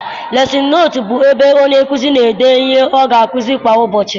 Lesịn nootu bụ ebe onye nkụzi n'ede ihe ọ ga akuzi kwa ụbọchị.